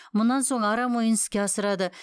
мұнан соң арам ойын іске асырады